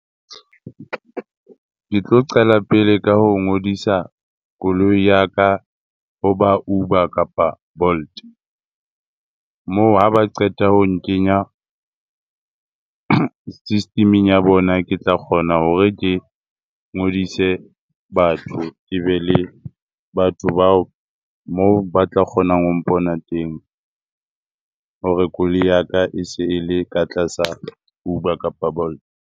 Ke tlo qala pele ka ho ngodisa koloi ya ka ho ba Uber kapa Bolt. Moo ha ba qeta ho nkenya system-eng ya bona. Ke tla kgona hore ke ngodise batho ke be le batho bao moo ba tla kgonang ho mpona teng hore koloi ya ka e se e le ka tlasa Uber kapa Bolt.